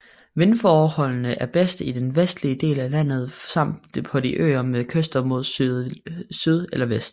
Vindforholdene er bedst i den vestlige del af landet samt på de øer med kyster mod syd eller vest